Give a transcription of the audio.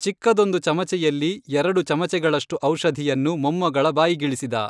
ಚಿಕ್ಕದ್ದೊಂದು ಚಮಚೆಯಲ್ಲಿ ಎರಡು ಚಮಚೆಗಳಷ್ಟು ಔಷಧಿಯನ್ನು ಮೊಮ್ಮಗಳ ಬಾಯಿಗಿಳಿಸಿದ.